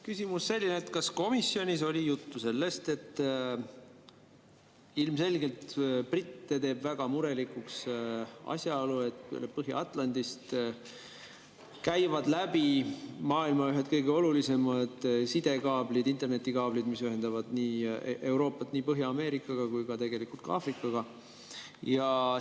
Küsimus selline: kas komisjonis oli juttu sellest, et ilmselgelt britte teeb väga murelikuks asjaolu, et Põhja-Atlandist käivad läbi maailma ühed kõige olulisemad sidekaablid, internetikaablid, mis ühendavad Euroopat nii Põhja-Ameerikaga kui tegelikult ka Aafrikaga?